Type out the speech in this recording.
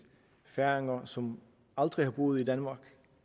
færinger som aldrig har boet i danmark